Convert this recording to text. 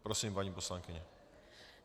Prosím, paní poslankyně.